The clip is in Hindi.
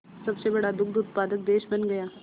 सबसे बड़ा दुग्ध उत्पादक देश बन गया